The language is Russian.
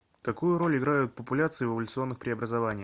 какую роль играют популяции в эволюционных преобразованиях